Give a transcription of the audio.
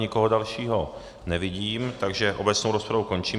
Nikoho dalšího nevidím, takže obecnou rozpravu končím.